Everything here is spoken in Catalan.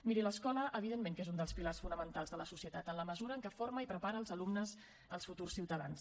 miri l’escola evidentment que és un dels pilars fonamentals de la societat en la mesura en que forma i prepara els alumnes els futurs ciutadans